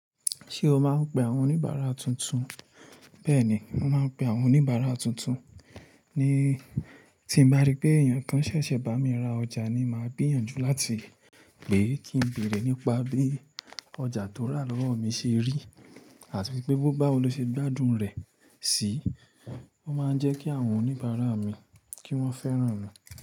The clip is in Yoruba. Ṣé o máa ń pe àwọn oníbàárà tuntun? Bẹ́ẹ̀ni, màá ń pe àwọn oníbàárà tuntun. Ni tí m bá rí pé èèyàn kan ṣẹ̀ṣẹ̀ bá mi ra ọjà ni màá gbìyànjú láti pè é kí n bèrè nípa bí ọjà tó rà lọ́wọ́ mi ṣe rí àti pé bó báwo ló ṣe gbádùn rẹ̀ sì. O máa ń jẹ́ kí àwọn oníbàárà mi kí wọ́n fẹ́ràn mi.